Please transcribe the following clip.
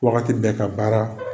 Wagati bɛɛ ka baara